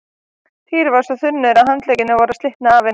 Týri var svo þungur að handleggirnir voru að slitna af henni.